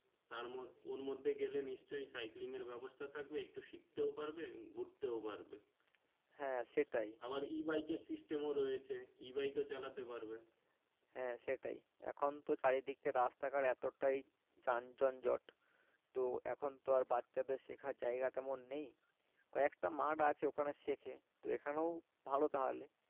এখন তো চারি দিকে রাস্তার ঘাট এতটাই যান জনজট তো এখুন তো আর বাচ্চাদের শেখের জায়গাতে মন নেই কয়েকটা মাঠ আছে যেখানে শেখে তো এখানেও ভালো তাহলে